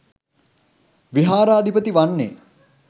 විහාරාධිපති වන්නේ